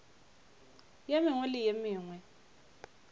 ye mengwe le ye mengwe